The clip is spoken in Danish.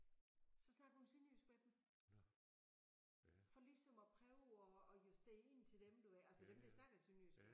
Så snakker hun sønderjysk med dem for ligesom at prøve og og justere ind til dem du ved altså dem der snakker sønderjysk